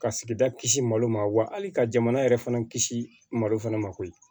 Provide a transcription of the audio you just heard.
Ka sigida kisi malo ma wa hali ka jamana yɛrɛ fana kisi malo fana ma koyi